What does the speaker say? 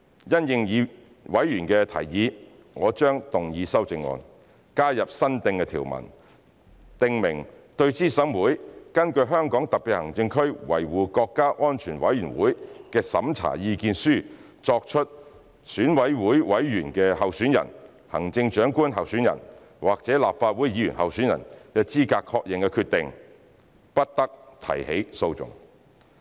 因應委員的提議，我將動議修正案，加入新訂條文，訂明"對資審會根據香港特別行政區維護國家安全委員會的審查意見書作出選舉委員候選人、行政長官候選人或立法會議員候選人資格確認的決定，不得提起訴訟"。